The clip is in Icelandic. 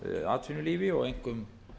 atvinnulífi og einkum